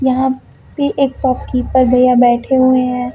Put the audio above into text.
यहां पे एक शॉपकीपर भैया बैठे हुए हैं।